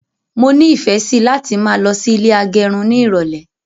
Mọ ni ìfẹ sí láti máa lọ sí ilé agẹrun ní irọlẹ